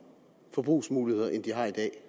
forbrugsmuligheder end de har i dag